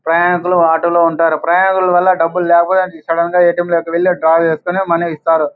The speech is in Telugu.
ప్రయాణికులు ఆటో లో ఉంటారు ప్రయాణికుల వల్ల డబ్బులు లేపోతె సడన్ గా ఏ. టి. ఎం. లోకి వెళ్లి డ్రా చేసుకొని మని ఇస్తారు.